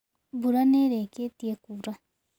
Mbura nĩ ĩrĩkĩtie kuura?